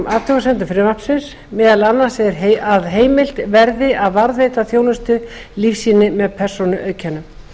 athugasemdum frumvarpsins meðal annars að heimilt verði að varðveita þjónustulífsýni með persónuauðkennum